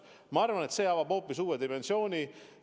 Ma arvan, et see avab hoopis uue dimensiooni.